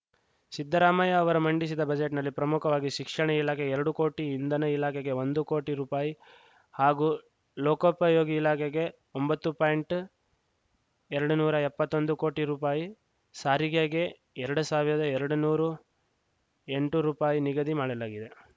ಸಿದ್ದರಾಮಯ್ಯ ಅವರು ಮಂಡಿಸಿದ ಬಜೆಟ್‌ನಲ್ಲಿ ಪ್ರಮುಖವಾಗಿ ಶಿಕ್ಷಣ ಇಲಾಖೆ ಎರಡು ಕೋಟಿ ಇಂಧನ ಇಲಾಖೆಗೆ ಒಂದು ಕೋಟಿ ರುಪಾಯಿ ಹಾಗೂ ಲೋಕೋಪಯೋಗಿ ಇಲಾಖೆಗೆ ಒಂಬತ್ತು ಪಾಯಿಂಟ್ ಎರಡ್ ನೂರ ಎಪ್ಪತ್ತೊಂದು ಕೋಟಿ ರುಪಾಯಿ ಸಾರಿಗೆಗೆ ಎರಡ್ ಸಾವಿರ್ದ ಎರಡ್ ನೂರು ಎಂಟು ರುಪಾಯಿ ನಿಗದಿ ಮಾಡಲಾಗಿದೆ